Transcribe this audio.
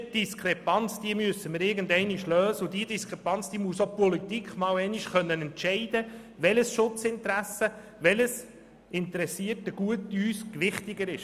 Diese Diskrepanz müssen wir irgendwann lösen, und die Politik muss irgendeinmal einen Entscheid fällen, welches Schutzinteresse, welches Gut für uns mehr Gewicht hat.